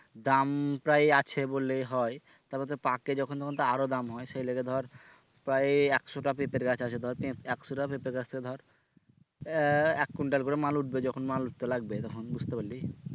দাম প্রায় আছে বললেই হয় তারপর তো পাকে যখন তখন তো আরো দাম হয় সেই লিগে ধর প্রায় একশোটা পেঁপের গাছ আছে ধর একশোটা পেঁপের গাছ থেকে ধর আহ এক কুইন্টাল করে মাল উঠবে যখন মাল তো লাগবে তখন বুঝতে পারলি?